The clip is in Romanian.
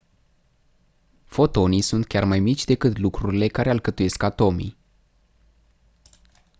fotonii sunt chiar mai mici decât lucrurile care alcătuiesc atomii